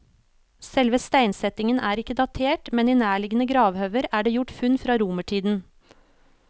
Selve steinsetningen er ikke datert, men i nærliggende gravhauger er det gjort funn fra romertiden.